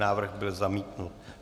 Návrh byl zamítnut.